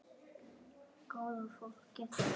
Góða fólkið.